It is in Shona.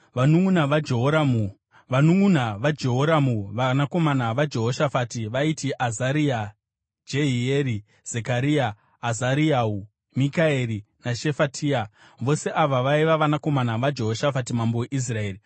Vanunʼuna vaJehoramu vanakomana vaJehoshafati vaiti Azaria, Jehieri, Zekaria, Azariyahu, Mikaeri naShefatia. Vose ava vaiva vanakomana vaJehoshafati mambo weIsraeri.